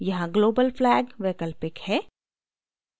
यहाँ global flag वैकल्पिक है